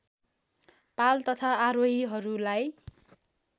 पाल तथा आरोहीहरूलाई